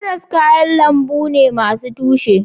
Karas kayan lambu ne masu tushe